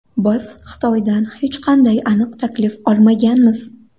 Biz Xitoydan hech qanday aniq taklif olmaganmiz.